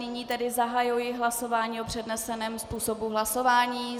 Nyní tedy zahajuji hlasování o předneseném způsobu hlasování.